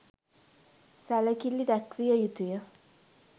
සැලකිලි දැක්විය යුතු ය